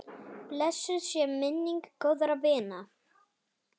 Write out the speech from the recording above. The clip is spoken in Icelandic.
Blessuð sé minning góðra vina.